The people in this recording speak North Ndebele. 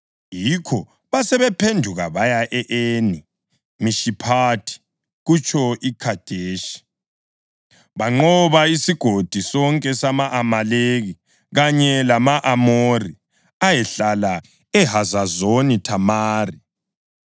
Yikho basebephenduka baya e-Eni Mishiphathi (kutsho eKhadeshi), banqoba isigodi sonke sama-Amaleki kanye lama-Amori ayehlala eHazazoni Thamari.